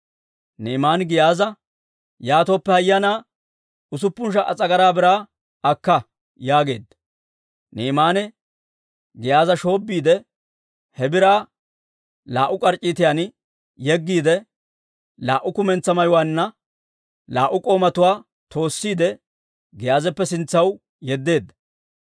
Ni'imaane Giyaaza, «Yaatooppe hayyanaa usuppun sha"a s'agaraa biraa akka» yaageedda. Ni'imaane Giyaaza shoobbiide, he biraa laa"u k'arc'c'iitan yeggiide, laa"u kumentsaa mayuwaanna laa"u k'oomatuwaa toossiide, Giyaazappe sintsaw yeddeedda.